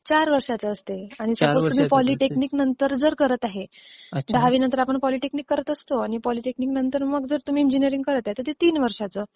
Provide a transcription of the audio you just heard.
चार वर्षाचं असतं. पॉलीटेकनिक नंतर जर करत आहे, दहावी नंतर आपण पॉलीटेकनिक करत असतो पॉलीटेकनिक नंतर जर तुम्ही इंजिनियरिंग करताय तर ते तीन वर्षांचं